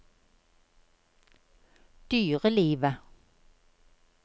dyrelivet